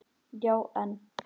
Já, en.